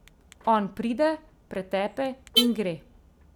On pride, pretepe in gre.